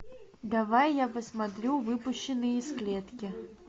давай я посмотрю выпущенный из клетки